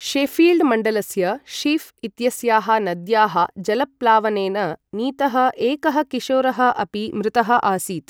Sheffield मण्डलस्य Sheaf इत्यस्याः नद्याः जलप्लावनेन नीतः एकः किशोरः अपि मृतः आसीत्।